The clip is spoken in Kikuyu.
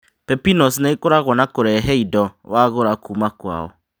Pepinos nĩ ĩkoragwo na kũrehe indo wagũra kũũma kwao